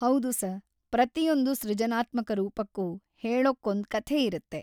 ಹೌದು ಸರ್. ಪ್ರತಿಯೊಂದು ಸೃಜನಾತ್ಮಕ ರೂಪಕ್ಕೂ ಹೇಳೋಕೊಂದ್ ಕಥೆ ಇರತ್ತೆ.